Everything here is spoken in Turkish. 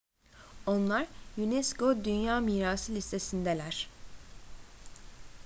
onlar unesco dünya mirası listesindeler